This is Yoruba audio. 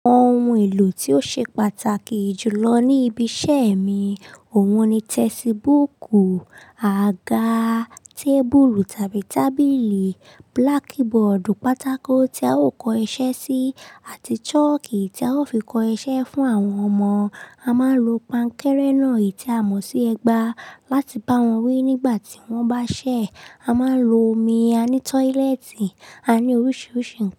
Ohun èlò tó ṣe pàtàkì jùlọ ní ibi iṣẹ́ mi òun ni textbook, àga, table tàbí tábìlì, blackboard, pátákó tí a ó kọ iṣẹ́ sí àti chalki tí a ó fi kọ iṣẹ́ fún àwọn ọmọ. A máa ń lo pánkẹrẹ náà èyí tí a mọ̀ sí ẹgba láti bá wọn wí nígbà tí wọ́n bá ṣẹ̀. A máa ń lo omi, a ní tọ́lẹ́ẹ́tì, a ní oríṣiríṣi.